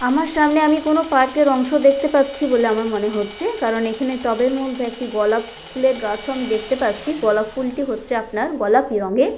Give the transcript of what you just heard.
আমার সামনে আমি কোনো পার্ক এর অংশ দেখতে পাচ্ছি বলে আমার মনে হচ্ছে কারণ এখানে টবের মধ্যে একটি গলাপ ফুলের গাছও আমি দেখতে পাচ্ছি গলাপ ফুলটি হচ্ছে আপনার গলাপি রঙ্গের।